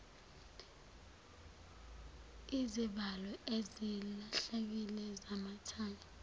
izivalo ezilahlekile zamathayi